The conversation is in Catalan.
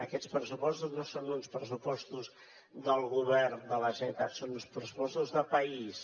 aquests pressupostos no són uns pressupostos del govern de la generalitat són uns pressupostos de país